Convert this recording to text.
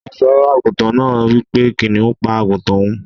Oluso aguntan naa wipe kiniun pa aguntan oun.